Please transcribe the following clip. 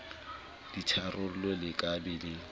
ditharollo le ka be le